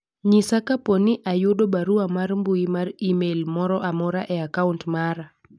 nyisa kapo ni ayudo barua mar mbui mar email moro amora e akaunt mara